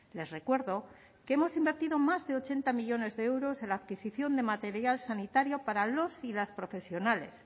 les recuerdo que hemos invertido más de ochenta millónes de euros en la adquisición de material sanitario para los y las profesionales